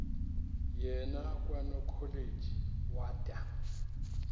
yena kwanokholeji wada